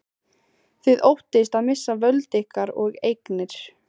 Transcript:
Þið óttist að missa völd ykkar og eignir.